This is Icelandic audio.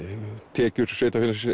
tekjur sveitarfélagsins